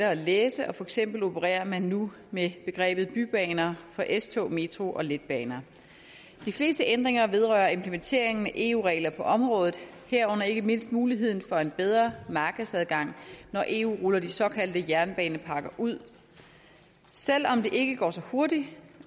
at læse og for eksempel opererer man nu med begrebet bybaner for s tog metro og letbaner de fleste ændringer vedrører implementeringen af eu regler på området herunder ikke mindst muligheden for en bedre markedsadgang når eu ruller de såkaldte jernbanepakker ud selv om det ikke går så hurtigt